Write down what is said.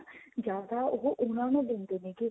ਜਿਆਦਾ ਉਹ ਉਹਨਾ ਨੂੰ ਦਿੰਦੇ ਨੇਗੇ